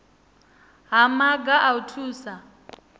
ha maga a u thusa